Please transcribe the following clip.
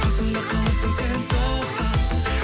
қасымда қаласың сен тоқта